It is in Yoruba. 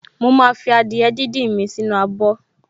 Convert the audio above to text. Mo máa fi adìẹ díndín mi sì inú abọ̀